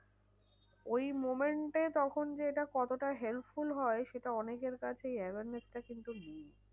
ওই moment এ তখন যে এটা কতটা helpful হয়? সেটা অনেকের সেই awareness টা কিন্তু nil.